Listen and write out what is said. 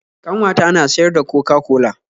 Ƙanwata na siyar da coca-cola.